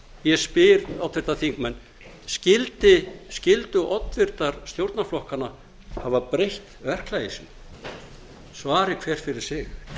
ég spyr háttvirtir þingmenn skyldu oddvitar stjórnarflokkanna hafa breytt verklagi sínu svari hver fyrir sig